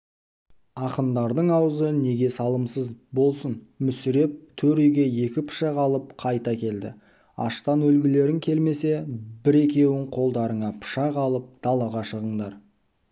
ақындардың аузы неге салымсыз болсын мүсіреп төр үйге екі пышақ алып қайта келді аштан өлгілерің келмесе бір-екеуің қолдарыңа пышақ алып далаға шығыңдар